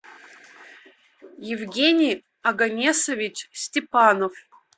евгений оганесович степанов